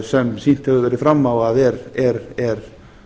sem sýnt hefur verið fram á að er